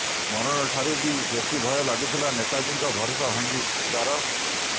ମରଣ ଠାରୁ ବି ବେସି ଭୟ ଲାଗୁଥିଲା ନେତାଜୀଙ୍କ ଭରସା ଭାଙ୍ଗି ଜିବାର୍